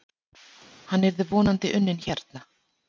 Hann yrði vonandi unnin hérna.